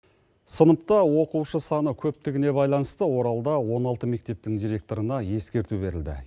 сыныпта оқушы саны көптігіне байланысты оралда он алты мектептің директорына ескерту берілді